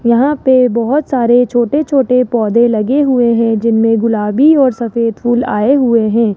यहां पर बहुत सारे छोटे छोटे पौधे लगे हुए हैं जिनमें गुलाबी और सफेद फूल आए हुए हैं।